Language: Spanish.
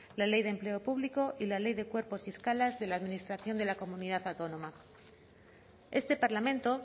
la ley de empleo público y la ley de cuerpos y escalas de la administración de la comunidad autónoma este parlamento